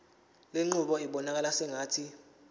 lenqubo ibonakala sengathi